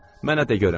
Mənə de görüm.